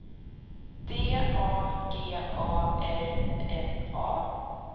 D A G A R N A